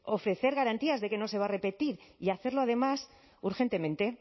ofrecer garantías de que no se va a repetir y hacerlo además urgentemente